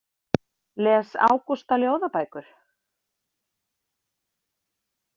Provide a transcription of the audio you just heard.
Les Ágústa ljóðabækur?